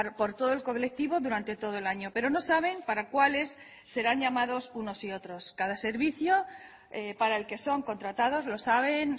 por todo el colectivo durante todo el año pero no saben para cuáles serán llamados unos y otros cada servicio para el que son contratados lo saben